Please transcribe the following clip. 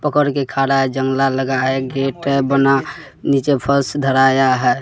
पकड़ के खाड़ा है जंगला लगा है गेट है बना नीचे फर्श धराया है।